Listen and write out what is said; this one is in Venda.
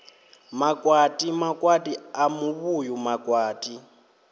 makwati makwati a muvhuyu makwati